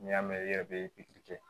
N'i y'a mɛn i yɛrɛ bɛ pikiri kɛ